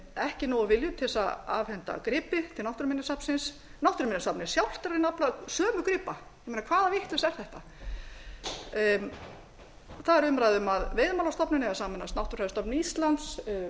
ekki nógu viljug til þess að afhenda gripi til náttúruminjasafnsins náttúruminjasafnið sjálft er að reyna að afla sömu gripa ég meina hvaða vitleysa er þetta það er umræða um að veiðimálastofnun eigi að sameinast náttúrufræðistofnun íslands